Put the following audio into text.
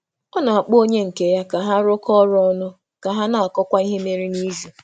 Ọ na-akpọ onye nke ya ka ha rụkọ um ọrụ ọnụ ka um ha na-akọwa ihe mere n’izu.